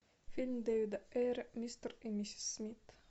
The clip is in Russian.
фильм дэвида эйра мистер и миссис смит